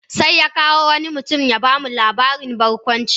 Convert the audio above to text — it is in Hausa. Sai ya kawo wani mutum ya ba mu labarin barkwanci.